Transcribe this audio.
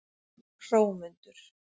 Hrómundur